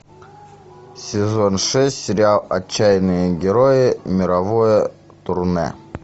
сезон шесть сериал отчаянные герои мировое турне